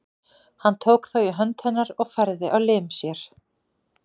Hann tók þá í hönd hennar og færði á lim sér.